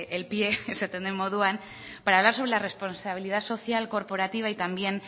el pie esaten den moduan para hablar sobre la responsabilidad social corporativa y también